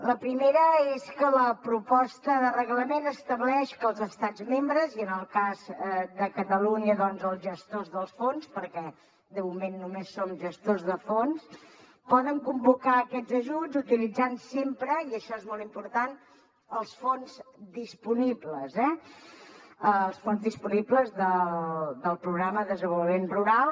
la primera és que la proposta de reglament estableix que els estats membres i en el cas de catalunya els gestors dels fons perquè de moment només som gestors de fons poden convocar aquests ajuts utilitzant sempre i això és molt important els fons disponibles els fons disponibles del programa de desenvolupament rural